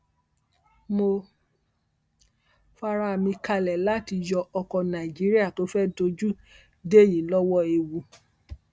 mo fa ara mi kalẹ láti yọ ọkọ nàíjíríà tó fẹẹ dojú dé yìí lọwọ ewu